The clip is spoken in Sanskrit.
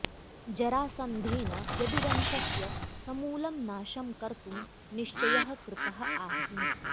जरासन्धेन यदुवंशस्य समूलं नाशं कर्तुं निश्चयः कृतः आसीत्